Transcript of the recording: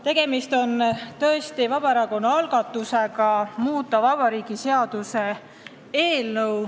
Tegemist on tõesti Vabaerakonna algatusega muuta Vabariigi Valitsuse seaduse eelnõu.